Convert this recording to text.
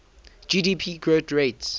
gdp growth rates